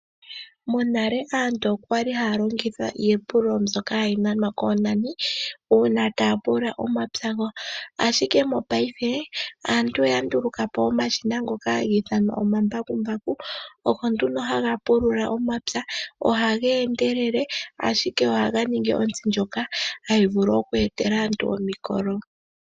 Monale aantu okwali haya longitha iipululo mbyoka hayi nanwa koonani, uuna taya pulula omapya gawo. Ashike mopaife aantu oya nduluka po omashina ngoka haga ithanwa omambakumbaku, ogo ndumo haga pulula omapya. Ohaga endelele, ashike ohaga ningi ontsi ndjoka hayi vulu oku etela aantu omikolo.